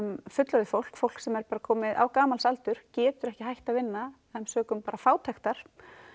fullorðið fólk fólk sem er komið á gamalsaldur getur ekki hætt að vinna sökum fátæktar